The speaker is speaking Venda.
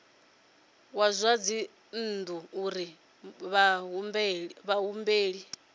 wa zwa dzinnu uri vhahumbeli